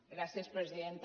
gràcies presidenta